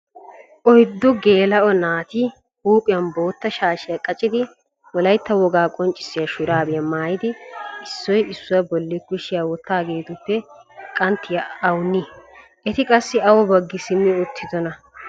Oyyddu geela"o naati huuphiyan bootta shaashiya qacidi wolayitta wogaa qonccissiya shuraabiya maayidi issoy issuwaa bolli kushiyaa wottaageetuppe qanttiya awunnii? Eti qassi awa baggi simmi uttidonaa?